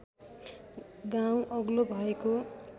गाउँ अग्लो भएको